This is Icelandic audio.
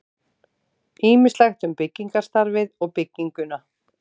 Ýmislegt um byggingarstarfið og bygginguna.